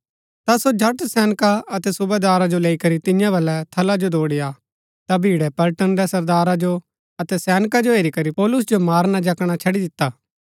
ता सो झट सैनका अतै सुबेदारा जो लैई करी तियां बलै थला जो दौड़ी आ ता भीड़ै पलटन रै सरदारा जो अतै सैनका जो हेरी करी पौलुस जो मारना जकणा छड़ी दिता